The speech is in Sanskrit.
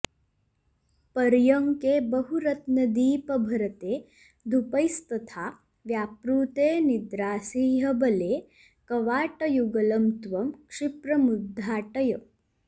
पर्यङ्के बहुरत्नदीपभरिते धूपैस्तथा व्यापृते निद्रासि ह्यबले कवाटयुगलं त्वं क्षिप्रमुद्घाटय